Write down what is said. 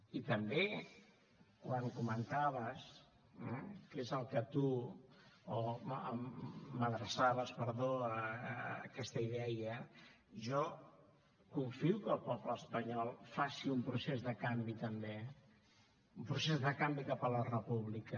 i també quan m’adreçaves aquesta idea jo confio que el poble espanyol faci un procés de canvi també un procés de canvi cap a la república